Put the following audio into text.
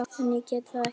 En ég get það ekki.